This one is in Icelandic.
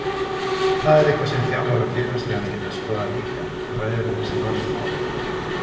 Það er eitthvað sem þjálfarar félagsliðanna geta skoðað líka Ræðirðu þessi mál við þá?